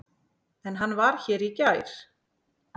En hann var hér í gær.